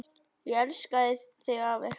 Ég elska þig afi.